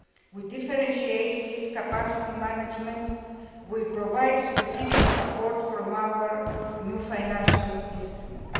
burden we differentiate fleet capacity management we provide specific support from our new financial instrument.